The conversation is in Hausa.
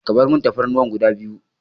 Ka barmun Tafarnuwa guda biyu.